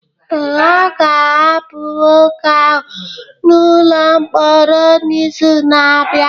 Ee, a ga-ahapụ nwoke ahụ n'ụlọ mkpọrọ n'izu na-abịa